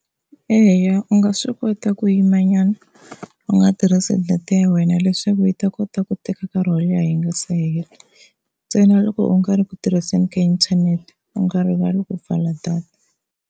Eya u nga swi kota ku yimanyana u nga tirhisi data ya wena leswaku yi ta kota ku teka nkarhi wo leha yi nga se hela, ntsena loko u nga ri ku tirhiseni ka inthanete u nga rivali ku pfala data.